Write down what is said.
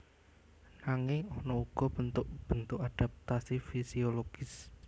Nanging ana uga bentuk bentuk adaptasi fisiologis